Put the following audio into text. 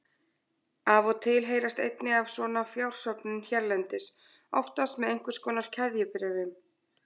Af og til heyrist einnig af svona fjársöfnun hérlendis, oftast með einhvers konar keðjubréfum.